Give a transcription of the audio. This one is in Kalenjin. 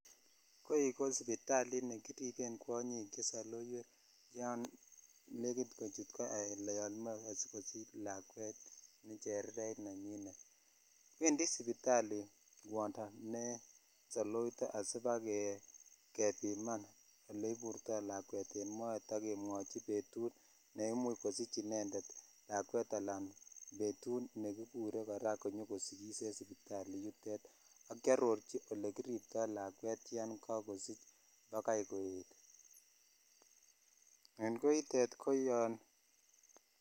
Koi kisipitalit nekiripen kwonyik che sailoowek yon lenekit kochut koo ala yan moche kosich lakwet ne chereret ne nenyinet wendi sipitali kwondo ne saolito asipakebimam oleiburtoi lakwet en moet ak kemwichi petut ne imuch kosich inended lakwet ala betut nekikure kora konyokosikis en sopitali ak kearochi ole kiriptoi lakwet yan kakosich bakai koet en koet koyon.